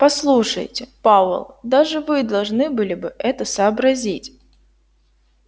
послушайте пауэлл даже вы должны были бы это сообразить